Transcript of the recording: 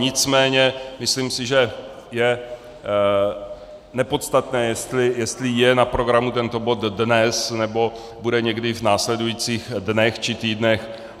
Nicméně si myslím, že je nepodstatné, jestli je na programu tento bod dnes, nebo bude někdy v následujících dnech či týdnech.